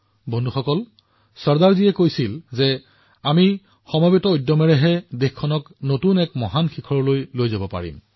বন্ধুসকল চৰ্দাৰ চাহাবে কৈছিল কেৱল আমাৰ ঐক্যবদ্ধ প্ৰয়াসৰ জৰিয়তেহে আমি দেশখনক নতুন উচ্চতালৈ লৈ যাব পাৰো